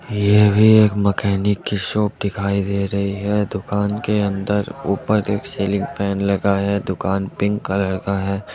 यह भी एक मैकेनिक की शॉप दिखाई दे रही है दुकान के अंदर ऊपर एक सीलिंग फेन लगाया है दुकान पिंक कलर का है।